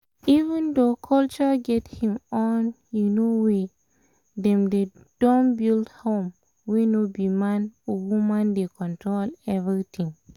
even though culture get him own um way um dem don build home wey no be man or woman dey control everything